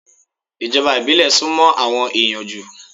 Ìjọba ìbílẹ̀ sún mọ́ àwọn ẹ̀yàn jù.